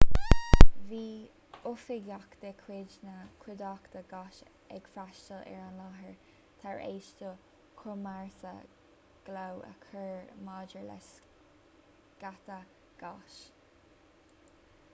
bhí oifigeach de chuid na cuideachta gáis ag freastail ar an láthair tar éis do chomharsa glao a chur maidir le sceitheadh gáis